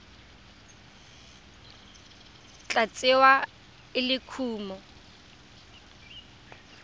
tla tsewa e le kumo